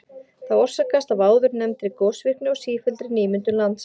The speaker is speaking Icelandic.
Það orsakast af áðurnefndri gosvirkni og sífelldri nýmyndun lands.